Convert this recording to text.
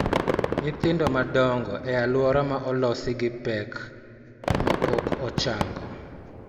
Nyithindo madongo e alwora ma olosi gi pek ma pok ochango